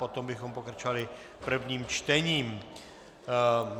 Potom bychom pokračovali prvním čtením.